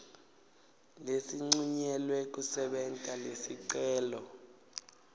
lesincunyelwe kusebenta lesicelo